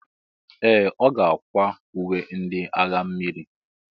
Ee! Ọ ga-akwa uwe ndị agha mmiri.